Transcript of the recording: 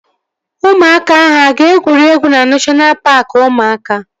Ụmụaka ahụ aga egwuregwu na neshọna paaki ụmụaka?